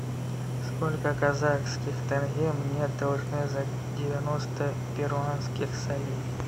сколько казахских тенге мне должны за девяносто перуанских солей